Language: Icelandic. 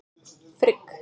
Frigg